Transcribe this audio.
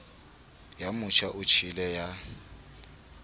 ya motjha o tjhele ya